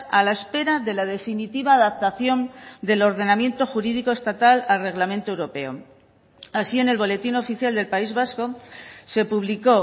a la espera de la definitiva adaptación del ordenamiento jurídico estatal al reglamento europeo así en el boletín oficial del país vasco se publicó